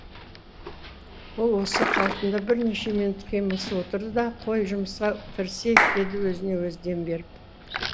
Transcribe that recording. ол осы қалпында бірнеше минут қимылсыз отырды да қой жұмысқа кірісейік деді өзіне өзі дем беріп